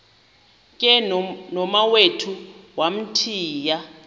ke nomawethu wamthiya